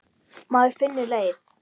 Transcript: Maður finnur leið.